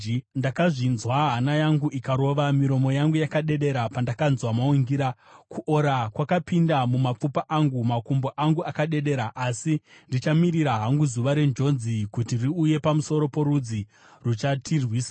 Ndakazvinzwa, hana yangu ikarova, miromo yangu yakadedera pandakanzwa maungira; kuora kwakapinda mumapfupa angu, makumbo angu akadedera. Asi ndichamirira hangu zuva renjodzi kuti riuye pamusoro porudzi ruchatirwisa.